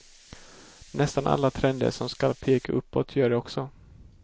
Nästan alla trender som skall peka uppåt gör det också.